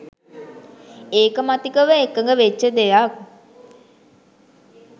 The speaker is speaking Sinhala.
ඒකමතිකව එකග වෙච්ච දෙයක්.